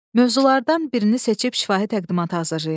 Mövzulardan birini seçib şifahi təqdimat hazırlayın.